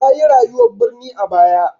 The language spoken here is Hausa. Ta yi rayuwar birni a baya.